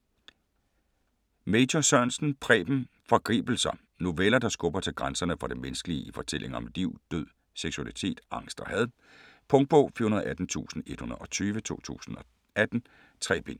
Major Sørensen, Preben: Forgribelser Noveller, der skubber til grænserne for det menneskelige i fortællinger om liv, død, seksualitet, angst og had. Punktbog 418120 2018. 3 bind.